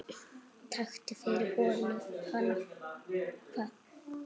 Takk fyrir, Holla.